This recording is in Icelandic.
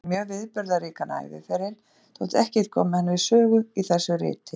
Hann átti sér mjög viðburðaríkan æviferil, þótt ekkert komi hann við sögu í þessu riti.